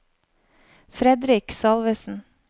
Fredrik Salvesen